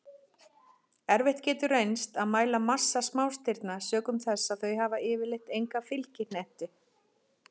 Erfitt getur reynst að mæla massa smástirna sökum þess að þau hafa yfirleitt enga fylgihnetti.